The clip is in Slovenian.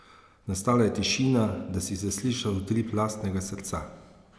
Nastala je tišina, da si zaslišal utrip lastnega srca ...